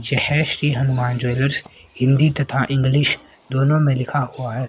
जय श्री हनुमान ज्वेलर्स हिंदी तथा इंग्लिश दोनों में लिखा हुआ है।